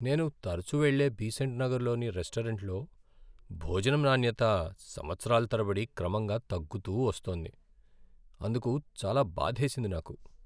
నేను తరచూ వెళ్ళే బీసెంట్ నగర్లోని రెస్టారెంట్లో భోజనం నాణ్యత సంవత్సరాల తరబడి క్రమంగా తగ్గుతూ వొస్తోంది. అందుకు చాలా బాధేసింది నాకు.